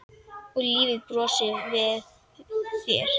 Og lífið brosir við þér!